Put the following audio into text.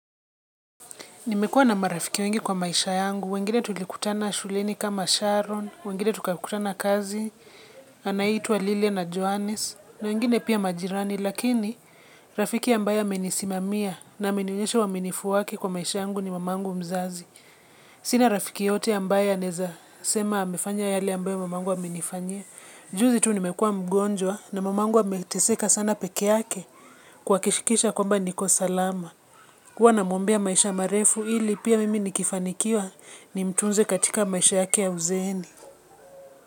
Nimekuwa na marafiki wengi kwa maisha yangu, wengine tulikutana shuleni kama Sharon, wengine tukakutana kazi, anaitwa Lili na Johannes, na wengine pia majirani, lakini rafiki ambaye amenisimamia na amenionyesha uaminifu wake kwa maisha yangu ni mamangu mzazi. Sina rafiki yeyote ambaye anaeza sema amefanya yale ambayo mamangu amenifanyia. Juzi tu nimekuwa mgonjwa na mamangu ameteseka sana peke yake kuhakikisha kwamba niko salama. Huwa namwombea maisha marefu ili pia mimi nikifanikiwa nimtunze katika maisha yake ya uzeeni.